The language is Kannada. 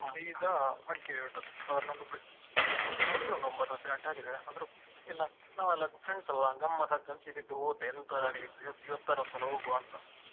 Madikeri ಗೆ ಹೊರಟದ್ದು so ಹೊತ್ತಾಗಿದೆ ಒಂದು ಒಂಬತ್ತು ಹತ್ತು ಗಂಟೆ ಆಗಿದೆ ಆದ್ರು ಎಲ್ಲ ನಾವೆಲ್ಲ friends ಅಲ್ವಾ ಗಮ್ಮತ್ತಾಗ್ತದೆ ಅಂತ ಸೀದಾ ಎದ್ದು ಹೋದ್ದೇ ಎಂಥದಾಗ್ಲಿ ಇವತ್ತಾದ್ರು ಒಂದ್ ಸಲ ಹೋಗುವಾ ಅಂತ.